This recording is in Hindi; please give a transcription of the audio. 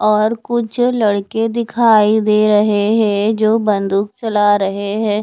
और कुछ लड़के दिखाई दे रहे हैं जो बंदूक चला रहे हैं।